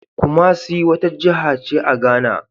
Kumasi wata jiha ce a Ghana.